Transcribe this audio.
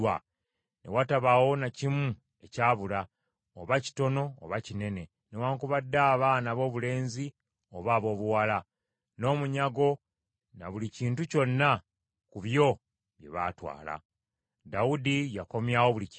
Ne watabaawo na kimu ekyabula, oba kitono oba kinene, newaakubadde abaana aboobulenzi oba aboobuwala, n’omunyago na buli kintu kyonna ku ebyo bye baatwala. Dawudi yakomyawo buli kimu.